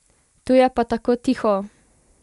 Tu je pa tako tiho!